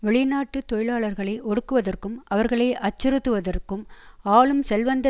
வெளிநாட்டு தொழிலாளர்களை ஒடுக்குவதற்கும் அவர்களை அச்சுறுத்துவதற்கும் ஆளும் செல்வந்த